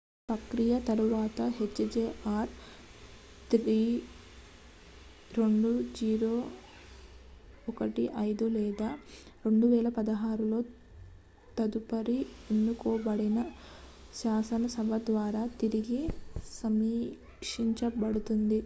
ఈ ప్రక్రియ తరువాత hjr-3 2015 లేదా 2016 లో తదుపరి ఎన్నుకోబడిన శాసనసభ ద్వారా తిరిగి సమీక్షించబడుతుంది